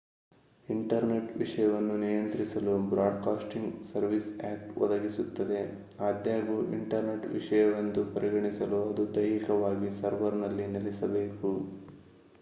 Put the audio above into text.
internet ವಿಷಯವನ್ನು ನಿಯಂತ್ರಿಸಲು broadcasting services act ಒದಗಿಸುತ್ತದೆ ಆದಾಗ್ಯೂ ಇಂಟರ್ನೆಟ್ ವಿಷಯವೆಂದು ಪರಿಗಣಿಸಲು ಅದು ದೈಹಿಕವಾಗಿ ಸರ್ವರ್‌ನಲ್ಲಿ ನೆಲೆಸಬೇಕು